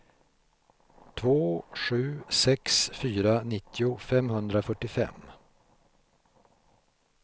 två sju sex fyra nittio femhundrafyrtiofem